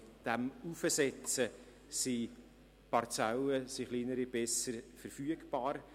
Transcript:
Mit der Heraufsetzung sind kleinere Parzellen besser verfügbar.